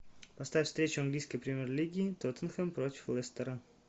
поставь встречу английской премьер лиги тоттенхэм против лестера